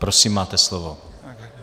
Prosím, máte slovo.